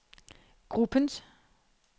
gruppens